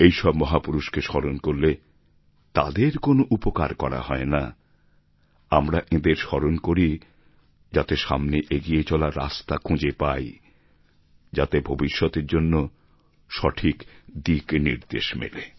এইসব মহাপুরুষকে স্মরণ করলে তাঁদের কোনও উপকার করা হয় না আমরা এঁদের স্মরণ করি যাতে সামনে এগিয়ে চলার রাস্তা খুঁজে পাই যাতে ভবিষ্যতের জন্য সঠিক দিগ্ নির্দেশ মেলে